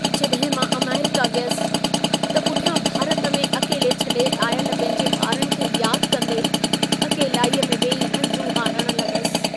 जॾहिं मां अमेरिका वियसि, त पुठियां भारत में अकेले छॾे आयल पंहिंजे ॿारनि खे यादि कंदे, अकेलाईअ में वेही हंजूं हारण लॻसि।